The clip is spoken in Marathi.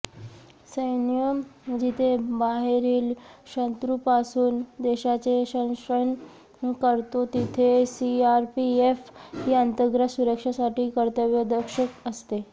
सैन्य जिथे बाहेरील शत्रूंपासून देशाचे संरक्षण करतो तिथे सीआरपीएफ ही अंतर्गत सुरक्षेसाठी कर्तव्य दक्ष असते